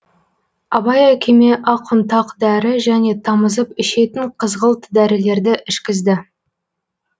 абай әкеме ақ ұнтақ дәрі және тамызып ішетін қызғылт дәрілерді ішкізді